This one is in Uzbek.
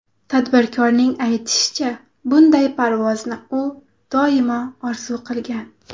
Tadbirkorning aytishicha, bunday parvozni u doimo orzu qilgan.